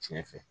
Tiɲɛ fɛ